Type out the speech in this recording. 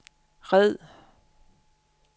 red